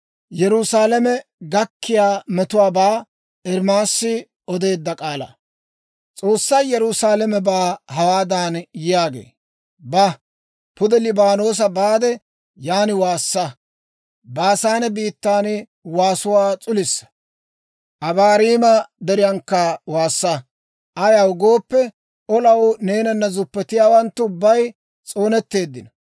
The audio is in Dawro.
S'oossay Yerusaalamebaa hawaadan yaagee; «Ba; pude Liibaanoosa baade, yaan waassa. Baasaane biittan waasuwaa s'ulisa. Abaarima Deriyaankka waassa. Ayaw gooppe, olaw neenana zuppetiyaawanttu ubbay s'oonetteeddino.